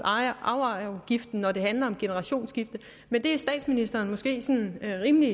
arveafgiften når det handler om generationsskifte men det er statsministeren måske sådan rimelig